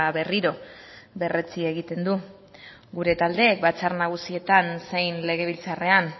berriro berretsi egiten du gure taldeek batzar nagusietan zein legebiltzarrean